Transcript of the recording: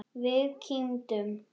Við kímdum.